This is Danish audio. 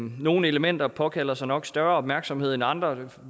nogle elementer påkalder sig nok større opmærksomhed end andre det